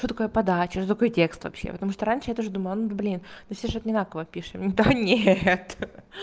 что такое подача что такое текст вообще потому что раньше я тоже думала ну вот блин ну все же одинаково пишем да нет